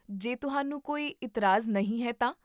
ਜੇ ਤੁਹਾਨੂੰ ਕੋਈ ਇਤਰਾਜ਼ ਨਹੀਂ ਹੈ ਤਾਂ